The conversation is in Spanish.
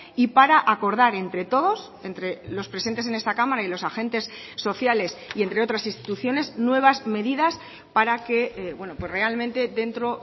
y para acordar entre todos entre los presentes en esta cámara y los agentes sociales y entre otras instituciones nuevas medidas para que realmente dentro